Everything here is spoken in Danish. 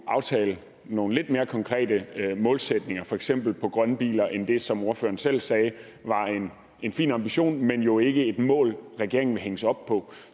at aftale nogle lidt mere konkrete målsætninger for eksempel på grønne biler end det som ordføreren selv sagde var en fin ambition men jo ikke et mål regeringen vil hænges op på